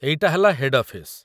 ଏଇଟା ହେଲା head office.